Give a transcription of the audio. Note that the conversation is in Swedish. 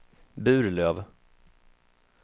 Burlöv